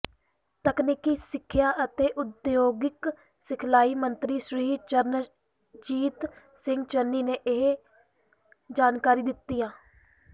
ਤਕਨੀਕੀ ਸਿੱਖਿਆ ਅਤੇ ਉਦਯੋਗਿਕ ਸਿਖਲਾਈ ਮੰਤਰੀ ਸ੍ਰੀ ਚਰਨਜੀਤ ਸਿੰਘ ਚੰਨੀ ਨੇ ਇਹ ਜਾਣਕਾਰੀ ਦਿੰਦਿਆਂ